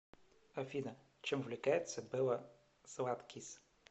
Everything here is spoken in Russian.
афина чем увлекается белла златкис